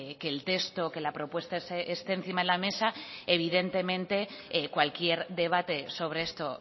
que el texto que la propuesta esté encima de la mesa evidentemente cualquier debate sobre esto